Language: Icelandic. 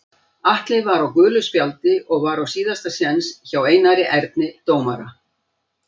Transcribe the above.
Atli var á gulu spjaldi og var á síðasta séns hjá Einari Erni dómara.